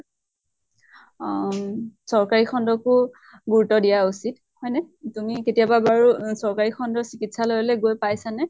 আম চৰকাৰী খন্ডকো গুৰুত্ব দিয়া উচিত, হয় নে? তুমি কেতিয়াবা বাৰু চৰকাৰী খন্ডৰ চিকিৎসালয়লৈ গৈ পাইছা নে?